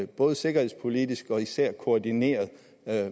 både sikkerhedspolitisk og især koordineret